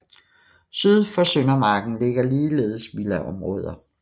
Syd for Søndermarken ligger ligeledes villaområder